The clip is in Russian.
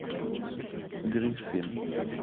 гриффин